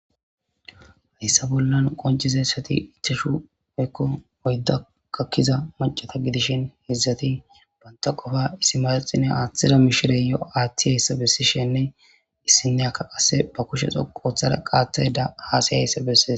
hessa bollan qoncizayssati ichashu oykko oydda kakkiza macata gidishin hizzati banta qofa issi maraxine aaththida mishire yo7 aaththi heessa bessishenne issineyakka qasse ba kushe xo qooththara qaateda haasayheessa bessi